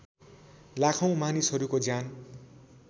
लाखौँ मानिसहरूको ज्यान